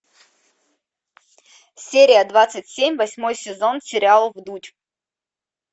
серия двадцать семь восьмой сезон сериала вдудь